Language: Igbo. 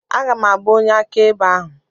Aga m abụ onye akaebe ahụ.